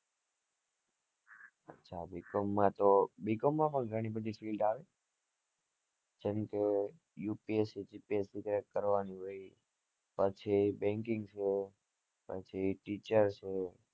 અચા bcom માં તો bcom ભી ઘણી બધી field આવે જેમકે upsc gpsc crack કરવાની હોય પછી banking છે પછી teacher છે